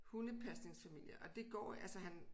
Hundepasningsfamilie og det går altså han